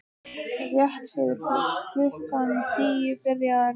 Rétt fyrir klukkan tíu byrjaði að rigna.